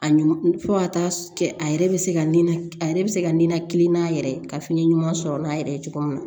A ɲɔn fo ka taa kɛ a yɛrɛ be se ka nɛnɛ a yɛrɛ be se ka ninakili n'a yɛrɛ ka fiɲɛ ɲuman sɔrɔ n'a yɛrɛ ye cogo min na